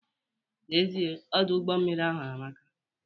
N'ezie Ọdụ ụgbọ mmiri ahụ amaka